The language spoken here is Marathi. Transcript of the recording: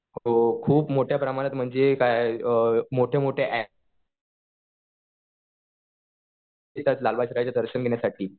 हो खूप मोठ्या प्रमाणात म्हणजे काय मोठे-मोठे येतात लालबागच्या राजाचं दर्शन घेण्यासाठी.